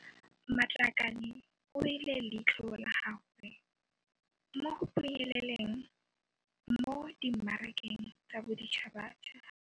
Matlakane o beile leitlho la gagwe mo go phunyeleleng mo dimmarakeng tsa boditšhabatšhaba.